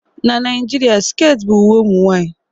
Na Naijiria, sket bụ uwe ụmụ nwanyị